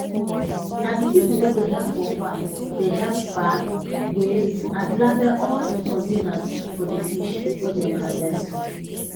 na di pipo wey dey help for farm dey help pack weigh and label all di containers for di fish wey dem harvest